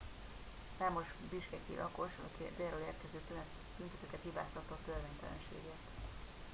számos bishkeki lakos a délről érkező tüntetőket hibáztatta a törvénytelenségért